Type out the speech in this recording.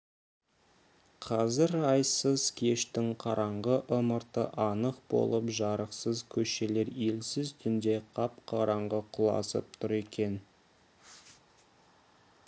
қазір айсыз кештің қараңғы ымырты анық болып жарықсыз көшелер елсіз түнде қап-қараңғы құлазып тұр екен